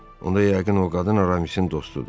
Onda yəqin o qadın Aramisin dostudur.